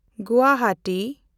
Guwahati